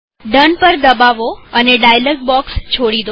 done પર દબાવો અને ડાયલોગ બોક્ષ છોડી દો